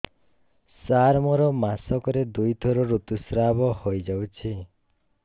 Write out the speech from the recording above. ସାର ମୋର ମାସକରେ ଦୁଇଥର ଋତୁସ୍ରାବ ହୋଇଯାଉଛି